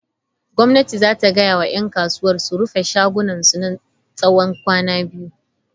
Gwamnati za ta gaya wa ‘yan kasuwar su rufe shagunansu na tsawon kwanaki biyu.